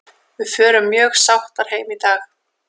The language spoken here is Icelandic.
Við förum mjög sáttar heim í dag.